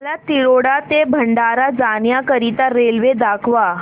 मला तिरोडा ते भंडारा जाण्या करीता रेल्वे दाखवा